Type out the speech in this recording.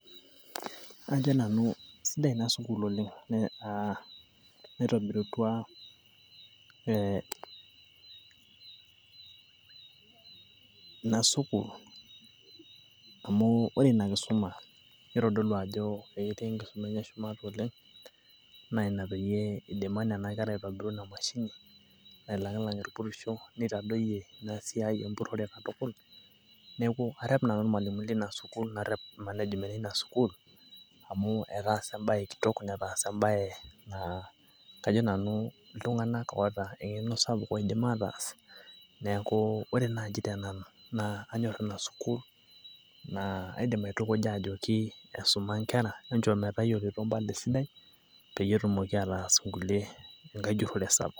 ajo nanu kisidai ina sukuul oleng naitobiritua. ina sukuul amu ore ina kisuma nitodolu ajo ketii enkisuma enye shumata oleng'.naa ina pee eidima nena kera aitobiru ina mashini. nailang'ilang' irpuridho. neitadoyie ina siai empurore katkul. neeku arep nanu irmalimuni leina sukuul. narep management eina sukuul, amu etaasa ebae kitok netaasa ebae naa kajo nanu iltung'anak oota eng'eno sapuk oidim aataas. neeku ore naaji tenanu, naa kanyor ina sukuul. naa kaidim aitukuja ajoki esuma nkera. pees ejungore sapuk.